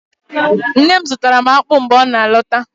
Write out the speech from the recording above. Nne m zụtara m akpụ mgbe ọ na-alọta